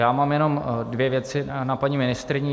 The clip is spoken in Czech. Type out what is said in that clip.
Já mám jenom dvě věci na paní ministryni.